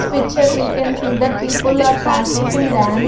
Picture we can see that people are practicing dan--